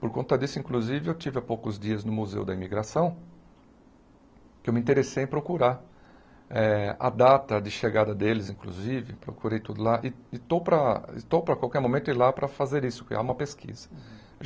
Por conta disso, inclusive, eu tive há poucos dias no Museu da Imigração, que eu me interessei em procurar eh a data de chegada deles, inclusive, procurei tudo lá, e e estou para estou para qualquer momento ir lá para fazer isso, criar uma pesquisa.